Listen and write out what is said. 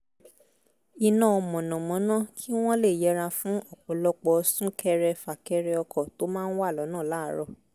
iná mànàmáná kí wọ́n lè yẹra fún ọ̀pọ̀lọpọ̀ sún-ḳẹrẹ- fà-kẹrẹ ọkọ̀ tó máa ń wà l’ọ́nà láàárọ̀